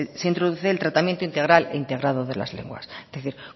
se introduce el tratamiento integral integrado de las lenguas es decir